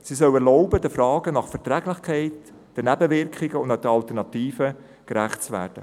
Diese soll erlauben, den Fragen nach der Verträglichkeit, den Nebenwirkungen und den Alternativen gerecht zu werden.